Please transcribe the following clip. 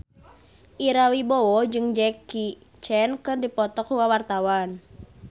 Ira Wibowo jeung Jackie Chan keur dipoto ku wartawan